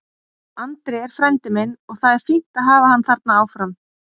Andri er frændi minn og það er fínt að hafa hann þarna áfram.